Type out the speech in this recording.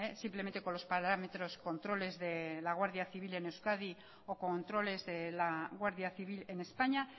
simplemente con los parámetros controles de la guardia civil en euskadi o controles de la guardia civil en españa